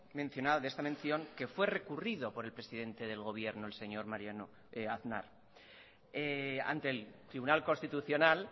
mencionado de esta mención que fue recurrido por el presidente del gobierno el señor aznar ante el tribunal constitucional